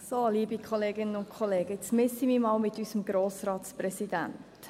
So, liebe Kolleginnen und Kollegen, jetzt messe ich mich mal mit unserem Grossratspräsidenten: